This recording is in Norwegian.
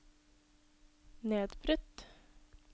nedbrutt